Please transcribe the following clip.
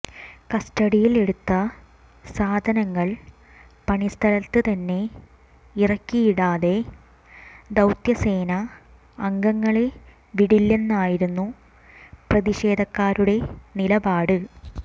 കസ്റ്റഡിയിൽ എടുത്ത സാധാനങ്ങൾ പണിസ്ഥത്ത് തന്നെ ഇറക്കിയിടാതെ ദൌത്യസേന അംഗങ്ങളെ വിടില്ലന്നായിരുന്നു പ്രതിഷേധക്കാരുടെ നിലപാട്